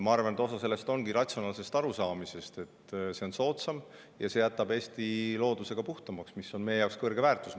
Ma arvan, et osa sellest ongi ratsionaalse arusaamise tõttu, et see on soodsam ja see jätab Eesti looduse ka puhtamaks, mis on meie jaoks kõrge väärtusega.